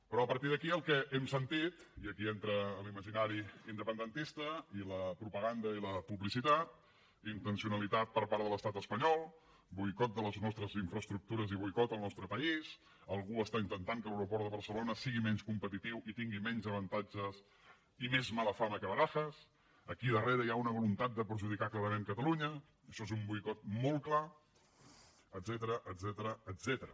però a partir d’aquí el que hem sentit i aquí entra l’imaginari independentista i la propaganda i la publicitat intencionalitat per part de l’estat espanyol boicot de les nostres infraestructures i boicot al nostre país algú està intentant que l’aeroport de barcelona sigui menys competitiu i tingui menys avantatges i més mala fama que barajas aquí darrere hi ha una voluntat de perjudicar clarament catalunya això és un boicot molt clar etcètera